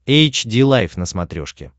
эйч ди лайф на смотрешке